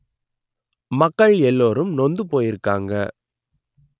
மக்கள் எல்லோரும் நொந்து போயிருக்காங்க